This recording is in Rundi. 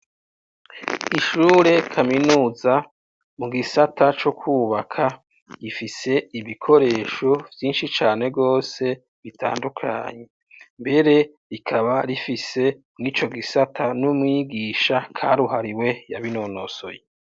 Ishure kaminuza mugisata co kwubaka, gifise ibikoresho vyinshi cane gose bitandukanye ,mbere rikaba rifise nico gisata n'umwigisha karuhariwe yabinonosoye.